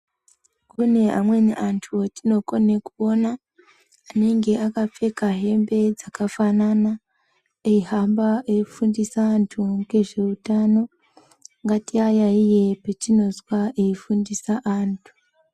Kune amweni antu atinokone kuona anenge akapfeka hembe dzakafanana. Eihamba eifundisa antu ngezveutano. Ngatiayaiye patinozwa eifundisa antu.